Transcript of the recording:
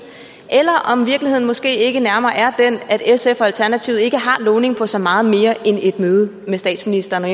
eller om virkeligheden måske ikke nærmere er den at sf og alternativet ikke har lovning på så meget mere end et møde med statsministeren og